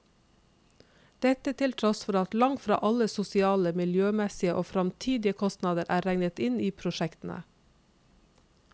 Dette til tross for at langt fra alle sosiale, miljømessige og fremtidige kostnader er regnet inn i prosjektene.